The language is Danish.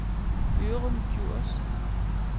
Ørum Djurs